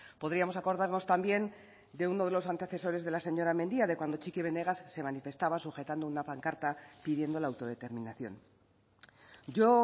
podríamos acordarnos también de uno de los antecesores de la señora mendia de cuando txiki benegas se manifestaba sujetando una pancarta pidiendo la autodeterminación yo